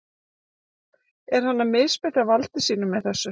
Er hann að misbeita valdi sínu með þessu?